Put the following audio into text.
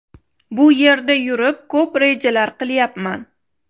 Bu yerda yurib, ko‘p rejalar qilyapman.